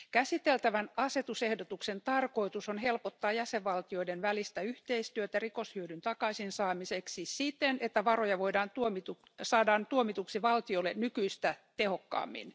Käsiteltävän asetusehdotuksen tarkoitus on helpottaa jäsenvaltioiden välistä yhteistyötä rikoshyödyn takaisin saamiseksi siten, että varoja saadaan tuomituksi valtiolle nykyistä tehokkaammin.